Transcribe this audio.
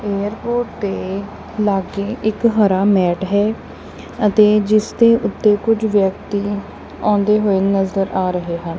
Airport ਤੇ ਲਾਗੇ ਇੱਕ ਹਰਾ ਮੈਟ ਹੈ ਅਤੇ ਜਿਸ ਦੇ ਉੱਤੇ ਕੁਝ ਵਿਅਕਤੀ ਆਉਂਦੇ ਹੋਏ ਨਜ਼ਰ ਆ ਰਹੇ ਹਨ।